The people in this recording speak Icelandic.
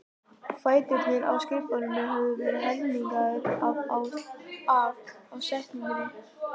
Fæturnir á skrifborðinu höfðu verið helmingaðir af ásetningi.